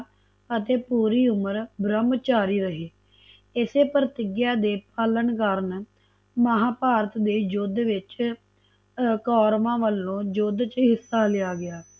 ਅਤੇ ਪੂਰੀ ਉਮਰ ਬ੍ਰਹਮਚਾਰੀ ਰਹੇ ਇਸੇ ਪ੍ਰਤਿਗਿਆ ਦੇ ਪਾਲਣ ਕਰਨ ਮਹਾਭਾਰਤ ਦੇ ਯੁੱਧ ਵਿਚ ਕੋਰਵਾ ਵਲੋ ਯੁੱਧ ਚ ਹਿੱਸਾ ਲਿਆ ਗਿਆ